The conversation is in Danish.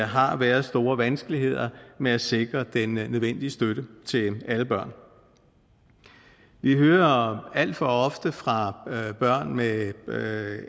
har været store vanskeligheder med at sikre den nødvendige støtte til alle børn vi hører alt for ofte fra børn med med